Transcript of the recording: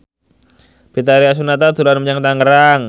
Betharia Sonata dolan menyang Tangerang